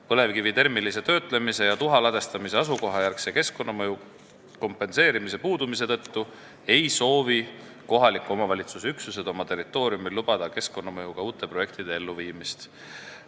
Põlevkivi termilise töötlemise ja tuha ladestamise asukoha järgse keskkonnamõju kompenseerimise puudumise tõttu ei soovi kohaliku omavalitsuse üksused oma territooriumil lubada uute keskkonnamõjuga projektide elluviimist.